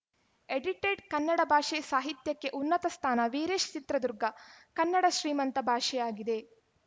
edited Kannada ಭಾಷೆ ಸಾಹಿತ್ಯಕ್ಕೆ ಉನ್ನತ ಸ್ಥಾನ ವೀರೇಶ್‌ ಚಿತ್ರದುರ್ಗ ಕನ್ನಡ ಶ್ರೀಮಂತ ಭಾಷೆಯಾಗಿದೆ